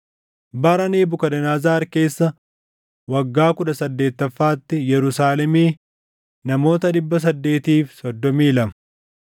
bara Nebukadnezar keessa waggaa kudha saddeettaffaatti, Yerusaalemii namoota 832;